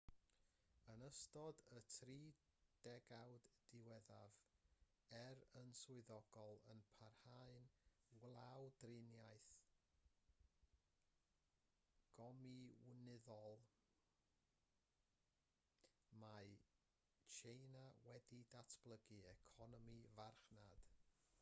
yn ystod y tri degawd diwethaf er yn swyddogol yn parhau'n wladwriaeth gomiwnyddol mae tsieina wedi datblygu economi farchnad